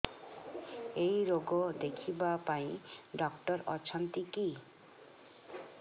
ଏଇ ରୋଗ ଦେଖିବା ପାଇଁ ଡ଼ାକ୍ତର ଅଛନ୍ତି କି